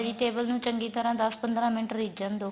vegetable ਨੂੰ ਚੰਗੀ ਤਰ੍ਹਾਂ ਦੱਸ ਪੰਦਰਾ ਮਿੰਟ ਰਿਜਣ ਦੋ